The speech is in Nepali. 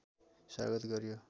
स्वागत गरियो